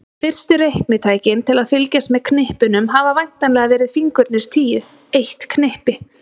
Fyrstu reiknitækin til að fylgjast með knippunum hafa væntanlega verið fingurnir tíu, eitt knippi.